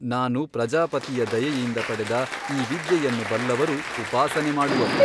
ನಾನು ಪ್ರಜಾಪತಿಯ ದಯೆಯಿಂದ ಪಡೆದ ಈ ವಿದ್ಯೆಯನ್ನು ಬಲ್ಲವರು ಉಪಾಸನೆ ಮಾಡುವರು.